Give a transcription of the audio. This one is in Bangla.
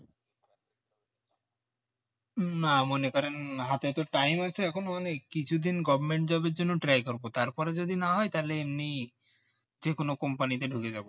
না মনে করেন হাতে তো time আছে এখনো অনেক কিছু দিন government job এর জন্য try করবো তারপর যদি না হয় তাহলে এমনি যেকোনো company তে ঢুকে যাবো